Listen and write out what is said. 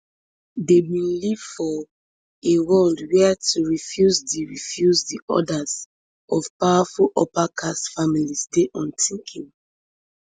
dem bin live for a world wia to refuse di refuse di orders of powerful uppercaste families dey unthinkable